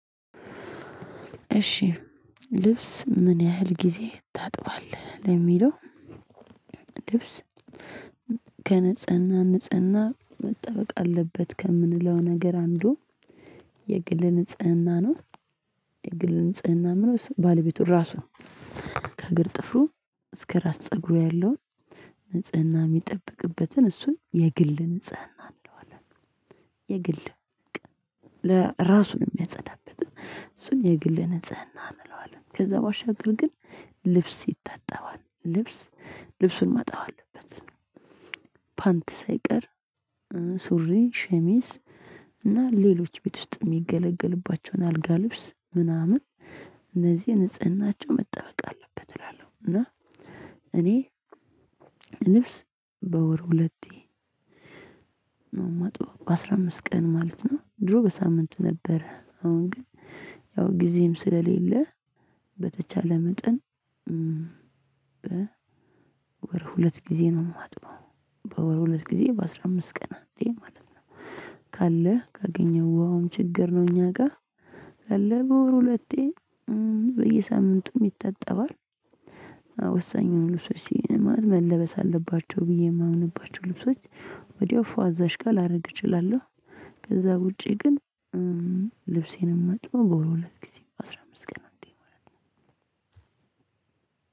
እሺ ልብስ ምን ያህል ጊዜ ታጥባለህ? ለሚለው ከንጽህና ንጽህና መጠበቅ አለበት ከምንለው ነገር አንዱ የግል ንጽህና ነው። የግል ንጽህና ምነው ባለቤቱ ራሱ ከእግር ጥፍሩ እስከ ራስ ፀጉሩ ያለውን ንጽህና የሚጠብቅበትን እሱን የግል ንጽህና እንለዋለን። የግል ለ ራሱን የሚያጸዳበትን እሱን የግል ንጽህና እንለዋለን። ከዛ ባሻገርግን ልብስ ይታጠባል ልብስ ልብሱን ማጠብ አለበት። ፓንት ሳይቀር ሱሪ ሸሚስ እና ሌሎች ቤት ውስጥ የሚገለገልባቸውን አልጋ ልብስ ምናምን እነዚህ ንጽህናቸው መጠበቅ አለበት። እላለሁ እና እኔ ልብስ በወር ሁለቴ ነው ማጥበው በአስራ አምስት ቀን ማለት ነው። ድሮ በሳምንት ነበረ አሁን ግን ያው ጊዜም ስለሌለ በተቻለ መጠን። በ ወር ሁለት ጊዜ ነው የማጥበው። በወር ሁለት ጊዜ በአስራ አምስት ቀን አንዴ ማለት ነው። ካለህ ካገኘኸው ውሃውም ችግር ነው እኛ ጋ አለ በወር ሁለቴ በየሳምንቱም ይታጠባል። ወሳኙን ልብሶች መለበስ አለባቸው ብዬ የማምንባቸው ልብሶች ወዲያው ፏ አዛች ጋር ላደርግ እችላለሁ። ከዛ ውጪ ግን ልብሴን ማጥበው በወር ሁለት ጊዜ አስራ አምስት ቀን እንዴ ማለት ነው።